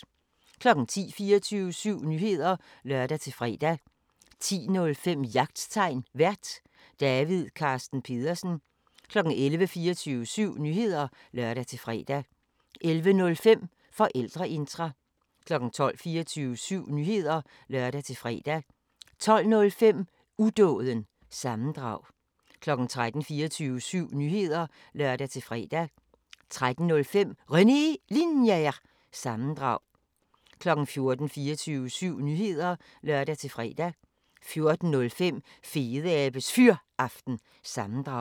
10:00: 24syv Nyheder (lør-fre) 10:05: Jagttegn Vært: David Carsten Pedersen 11:00: 24syv Nyheder (lør-fre) 11:05: Forældreintra 12:00: 24syv Nyheder (lør-fre) 12:05: Udåden – sammendrag 13:00: 24syv Nyheder (lør-fre) 13:05: René Linjer- sammendrag 14:00: 24syv Nyheder (lør-fre) 14:05: Fedeabes Fyraften – sammendrag